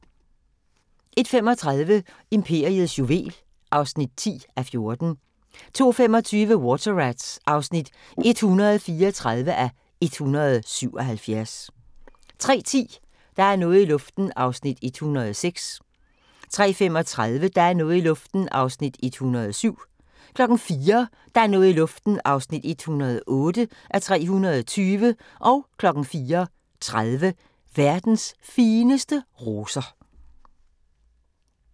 01:35: Imperiets juvel (10:14) 02:25: Water Rats (134:177) 03:10: Der er noget i luften (106:320) 03:35: Der er noget i luften (107:320) 04:00: Der er noget i luften (108:320) 04:30: Verdens fineste roser